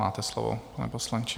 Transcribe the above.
Máte slovo, pane poslanče.